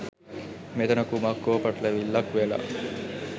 මෙතන කුමක් හෝ පටලැවිල්ලක් වෙලා.